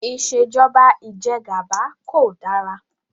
Ìṣèjọba Ìjẹgàba kò dára